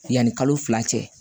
Yanni kalo fila cɛ